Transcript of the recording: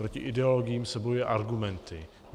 Proti ideologiím se bojuje argumenty.